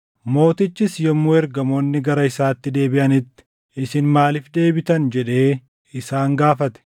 Mootichis yommuu ergamoonni gara isaatti deebiʼanitti, “Isin maaliif deebitan?” jedhee isaan gaafate.